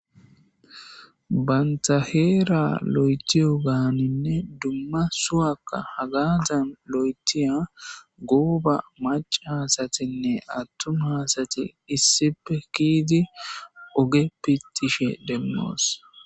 Banththa heeraa loyththiyoogaaninne duma suwakka hagaadan loyththiya gooba maccaasaththinne aththuma asathi issippe kiyidi oge piththishe demmoos.